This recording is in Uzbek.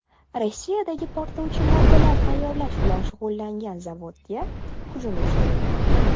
Rossiyadagi portlovchi moddalar tayyorlash bilan shug‘ullangan zavodga hujum uyushtirildi.